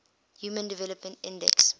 human development index